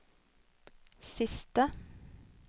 siste